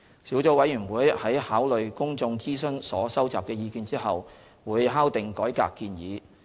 小組委員會在考慮公眾諮詢所收集的意見後會敲定改革建議。